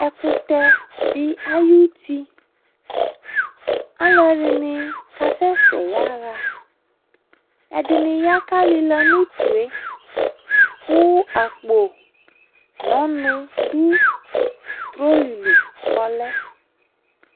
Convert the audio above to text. Ɛkutɛ de ayutiAluɛ de kasɛsɛ yaha Ɛde ne ya ka lela no utue ko akpo no ɔnu do troli li kɔ lɛ